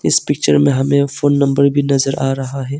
इस पिक्चर में हमें फोन नंबर भी नजर आ रहा है।